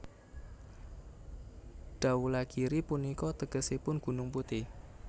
Dhaulagiri punika tegesipun Gunung Putih